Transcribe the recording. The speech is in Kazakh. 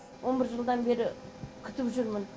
он бір жылдан бері күтіп жүрмін